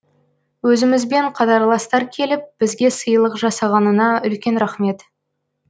өзімізбен қатарластар келіп бізге сыйлық жасағанына үлкен рахмет